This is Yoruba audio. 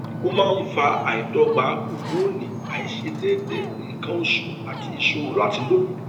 ó máa ń fa àìdọgba hómónì àìṣedéédé nǹkan oṣù àti ìṣòro láti lóyún